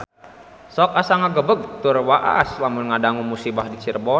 Sok asa ngagebeg tur waas lamun ngadangu musibah di Cirebon